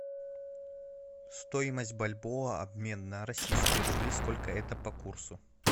стоимость бальбоа обмен на российские рубли сколько это по курсу